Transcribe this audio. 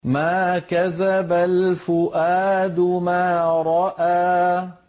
مَا كَذَبَ الْفُؤَادُ مَا رَأَىٰ